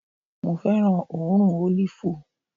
Mo fẹ́ràn òórùn ólìfù